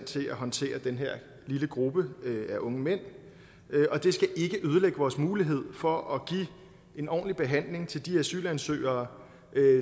til at håndtere den her lille gruppe af unge mænd og det skal ikke ødelægge vores mulighed for at give en ordentlig behandling til de asylansøgere